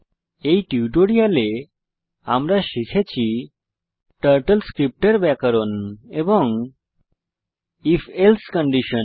এই টিউটোরিয়ালে আমরা শিখেছি টার্টল স্ক্রিপ্ট এর ব্যাকরণ এবং if এলসে কন্ডিশন